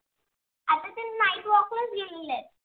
गेलेले आहेत.